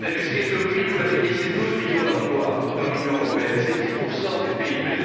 L'industrie automobile, vous l'avez dit, c'est 12 millions d'emplois dans l'Union européenne, c'est 10 du PIB.